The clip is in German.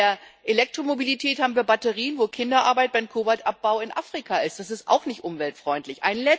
Bei der Elektromobilität haben wir Batterien, wo Kinderarbeit beim Kobaltabbau in Afrika geleistet wird das ist auch nicht umweltfreundlich.